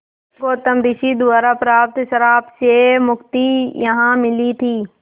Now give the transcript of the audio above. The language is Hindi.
गौतम ऋषि द्वारा प्राप्त श्राप से मुक्ति यहाँ मिली थी